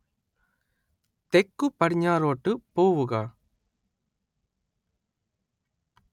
തെക്കുപടിഞ്ഞാറോട്ട് പോവുക